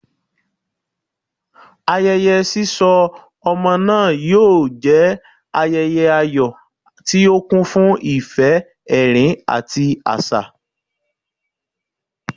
Ayẹyẹ sisọ ọmọ naa yoo jẹ ayẹyẹ ayọ ti o kun fun ifẹ, ẹrin, ati aṣa.